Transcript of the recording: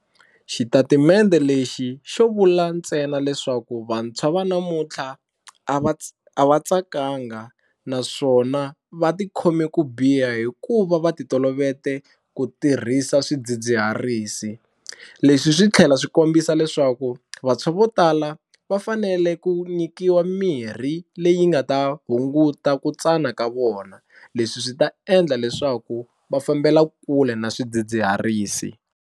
Xitatimende lexi xo vula ntsena leswaku vantshwa va namuntlha a va a va tsakanga naswona va ti khome ku biha hi ku va va ti tolovete ku tirhisa swidzidziharisi, leswi swi tlhela swi kombisa leswaku vantshwa vo tala va fanele ku nyikiwa mirhi leyi nga ta hunguta ku tsana ka vona leswi swi ta endla leswaku va fambela kule na swidzidziharisi.